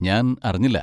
ഞാൻ അറിഞ്ഞില്ല.